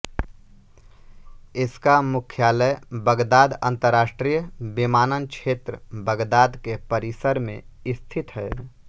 इसका मुख्यालय बगदाद अन्तर्राष्ट्रीय विमानक्षेत्र बगदाद के परिसर में स्थित है